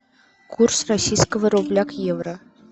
курс российского рубля к евро